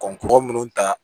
Kɔkɔ minnu ta